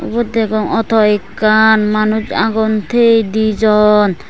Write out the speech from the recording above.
ubot degong awtow ekkan manus agon tey dijon.